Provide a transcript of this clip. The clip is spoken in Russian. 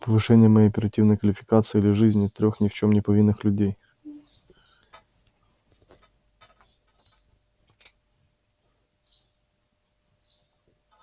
повышение моей оперативной квалификации или жизни трёх ни в чём не повинных людей